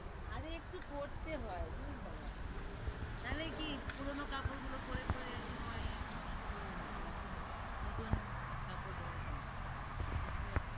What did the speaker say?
আরে একটু করতে হয়, দূর বাবা। না হলে কি পুরোনো কাপড়গুলো পড়ে পড়ে সময় নষ্ট করবো নাকি এখানে? নতুন কাপড় দরকার, বুঝতে পারছিস?